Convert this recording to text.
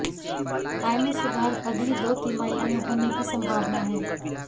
आय में सुधार अगली दो तिमाही में होने की संभावना है